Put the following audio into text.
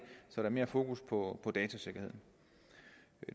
så der er mere fokus på datasikkerhed